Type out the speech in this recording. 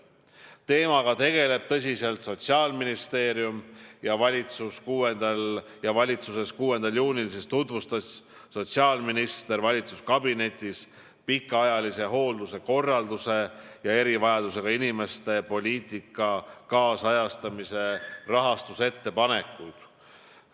Teemaga tegeleb tõsiselt Sotsiaalministeerium ja sotsiaalminister tutvustas 6. juunil valitsuskabinetis pikaajalise hoolduse korralduse ja erivajadusega inimeste poliitika kaasajastamise rahastuse ettepanekuid.